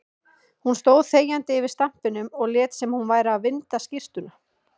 Hún stóð þegjandi yfir stampinum og lét sem hún væri að vinda skyrtuna.